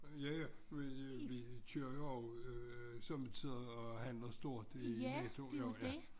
Ja ja vi vi kører jo også sommetider og handler stort i Netto jo ja